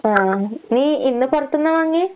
ആഹ്. നീ ഇന്ന് പൊറത്ത്ന്നാ വാങ്ങിയേ?